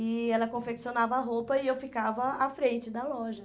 E ela confeccionava a roupa e eu ficava à frente da loja.